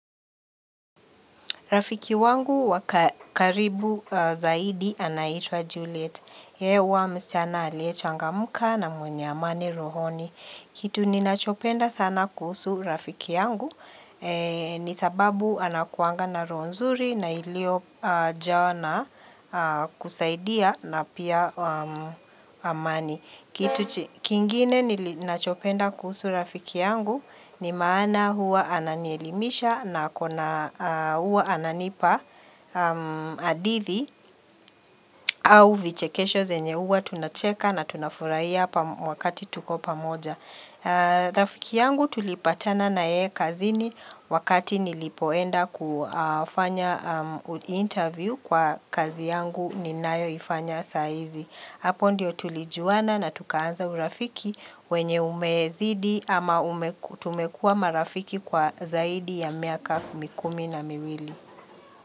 Rafiki wangu wakaribu zaidi anaitwa Juliet. Hewa mschana alie changamka na mwenye amani rohoni. Kitu ni nachopenda sana kuhusu rafiki yangu. Ni sababu anakuanga na roho nzuri na ilio jawa na kusaidia na pia amani. Kitu kingine ninachopenda kuhusu rafiki yangu ni maana huwa ananielimisha na akona huwa ananipa hadithi au vichekesho zenye huwa tunacheka na tunafurahia wakati tuko pamoja. Rafiki yangu tulipatana na yeye kazini wakati nilipoenda kufanya interview kwa kazi yangu ninayo ifanya saizi. Hapo ndio tulijuana na tukaanza urafiki wenye umezidi ama tumekua marafiki kwa zaidi ya miaka kumikumi na miwili.